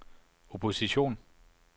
opposition